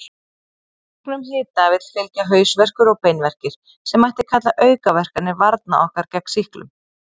Auknum hita vill fylgja hausverkur og beinverkir, sem mætti kalla aukaverkanir varna okkar gegn sýklum.